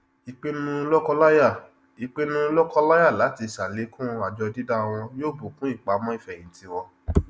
ìpinnu lọkọláya ìpinnu lọkọláya láti ṣàlékún àjọ dídá wọn yóò bùkún ìpamọ ìfẹhìntì wọn